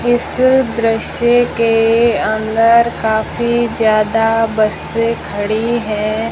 इस दृश्य के अंदर काफी ज्यादा बसें खड़ी है।